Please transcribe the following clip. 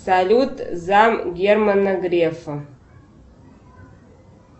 салют зам германа грефа